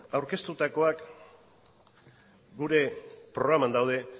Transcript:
aurkeztutakoak gure programan daude